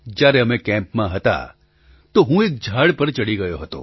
જ્યારે અમે કેમ્પમાં હતા તો હું એક ઝાડ પર ચડી ગયો હતો